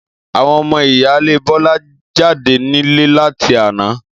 Àwon omo ìyáálé Bólá jáde nílé láti àná